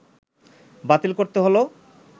বাতিল করতে হল